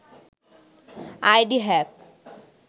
ID hack